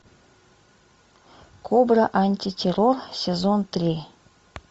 кобра антитеррор сезон три